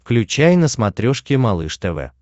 включай на смотрешке малыш тв